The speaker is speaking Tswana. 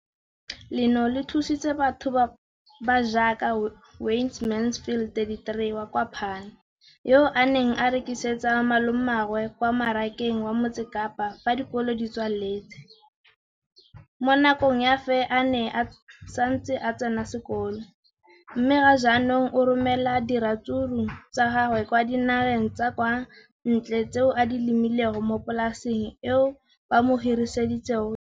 leno le thusitse batho ba ba jaaka Wayne Mansfield, 33, wa kwa Paarl, yo a neng a rekisetsa malomagwe kwa Marakeng wa Motsekapa fa dikolo di tswaletse, mo nakong ya fa a ne a santse a tsena sekolo, mme ga jaanong o romela diratsuru tsa gagwe kwa dinageng tsa kwa ntle tseo a di lemileng mo polaseng eo ba mo hiriseditseng yona.